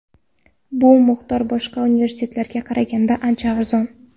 Bu miqdor boshqa universitetlarga qaraganda ancha arzon.